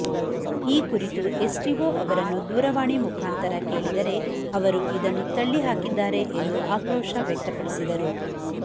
ಈ ಕುರಿತು ಎಸ್ಟಿಒ ಅವರನ್ನು ದೂರವಾಣಿ ಮುಖಾಂತರ ಕೇಳಿದರೆ ಅವರು ಇದನ್ನು ತಳ್ಳಿಹಾಕಿದ್ದಾರೆ ಎಂದು ಆಕ್ರೋಶ ವ್ಯಕ್ತಪಡಿಸಿದರು